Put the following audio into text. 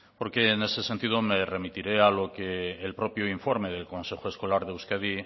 porque en ese sentido me remitiré a lo que el propio informe del consejo escolar de euskadi